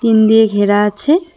Tin দিয়ে ঘেরা আছে।